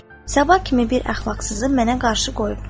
Sabah kimi bir əxlaqsızı mənə qarşı qoyubdu.